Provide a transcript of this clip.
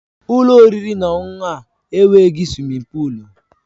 Ụlọ oriri na ọṅụṅụ a enweghị suwimin pụụlu